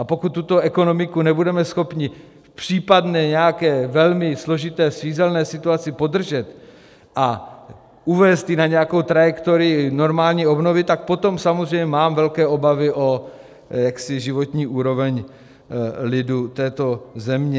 A pokud tuto ekonomiku nebudeme schopni v případné nějaké velmi složité svízelné situaci podržet a uvést ji na nějakou trajektorii normální obnovy, tak potom samozřejmě mám velké obavy o životní úroveň lidu této země.